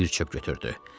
bir çox götürdü.